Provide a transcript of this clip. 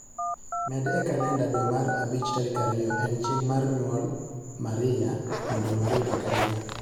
Med e kalenda dwe mar abich tarik ariyo en chieng' mar nyuol maria mondo onuore higa ka higa